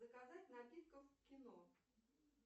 заказать напитков в кино